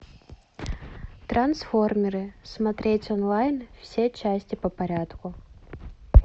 трансформеры смотреть онлайн все части по порядку